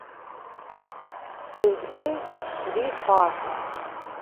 сергей рифатович